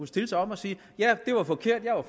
stille sig op og sige ja det var forkert jeg er